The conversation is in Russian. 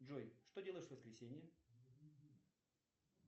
джой что делаешь в воскресенье